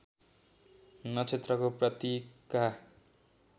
नक्षत्रको प्रतीकका